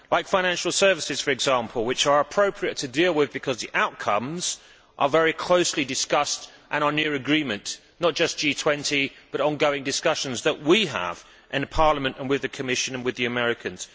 Financial services, for example, which are appropriate to deal with because the outcomes are very closely discussed and are near agreement not just in G20 but ongoing discussions that we have in Parliament and with the Commission and the Americans.